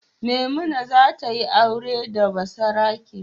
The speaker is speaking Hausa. Maimuna za ta yi aure da basarake.